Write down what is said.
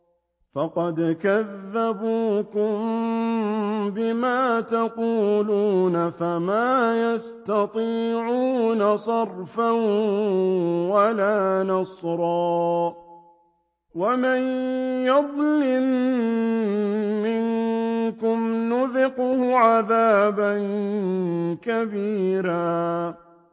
فَقَدْ كَذَّبُوكُم بِمَا تَقُولُونَ فَمَا تَسْتَطِيعُونَ صَرْفًا وَلَا نَصْرًا ۚ وَمَن يَظْلِم مِّنكُمْ نُذِقْهُ عَذَابًا كَبِيرًا